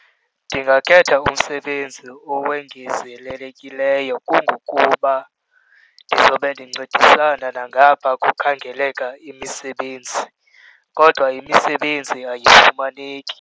Ndingakhetha umsebenzi owongezelelekileyo kungokuba ndizobe ndincedisana nangapha kukhangeleka imisebenzi. Kodwa imisebenzi ayifumaneki.